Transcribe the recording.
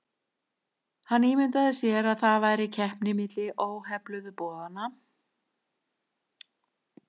Hann ímyndaði sér að það væri keppni milli óhefluðu borðanna og þeirra hefluðu.